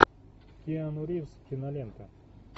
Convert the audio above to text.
киану ривз кинолента